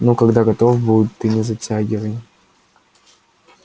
ну когда готов будет ты не затягивай